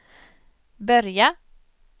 börja